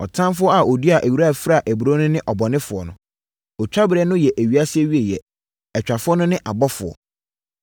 Ɔtamfoɔ a ɔduaa ewira fraa aburoo no ne ɔbɔnefoɔ no. Otwa berɛ no yɛ ewiase awieeɛ; atwafoɔ no ne abɔfoɔ.